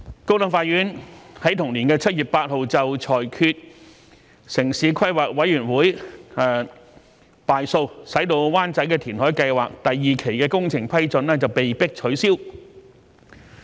高等法院於同年7月8日裁決城市規劃委員會敗訴，使灣仔填海計劃第二期的工程批准被迫取消。